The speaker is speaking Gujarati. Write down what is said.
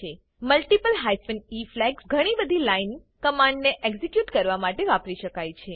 મલ્ટિપલ હાયફેન ઇ ફ્લેગ્સ ઘણીબધી લાઈન કમાંડ ને એક્ઝિક્યુટ કરવા માટે વાપરી શકાય છે